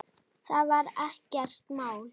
Það var ekkert mál.